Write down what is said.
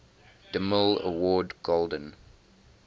demille award golden